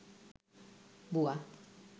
বুয়া